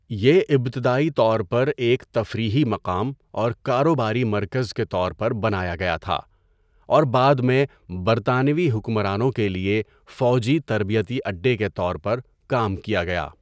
یہ ابتدائی طور پر ایک تفریحی مقام اور کاروباری مرکز کے طور پر بنایا گیا تھا اور بعد میں برطانوی حکمرانوں کے لیے فوجی تربیتی اڈے کے طور پر کام کیا گیا۔